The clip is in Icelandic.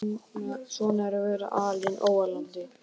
Svona er að vera alinn á ólandi.